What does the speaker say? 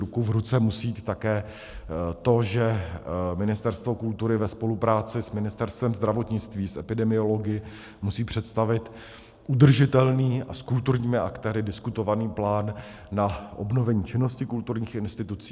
Ruku v ruce musí jít také to, že Ministerstvo kultury ve spolupráci s Ministerstvem zdravotnictví, s epidemiology musí představit udržitelný a s kulturními aktéry diskutovaný plán na obnovení činnosti kulturních institucí.